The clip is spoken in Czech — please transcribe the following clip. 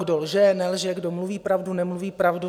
Kdo lže, nelže, kdo mluví pravdu, nemluví pravdu.